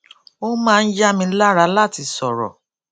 ó máa ń yá mi lára láti sòrò